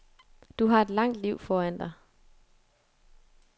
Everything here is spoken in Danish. Du har et langt liv foran dig.